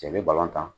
Cɛ bɛ balontan